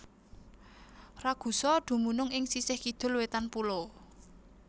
Ragusa dumunung ing sisih kidul wétan pulo